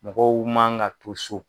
Mɔgɔw man ka to so.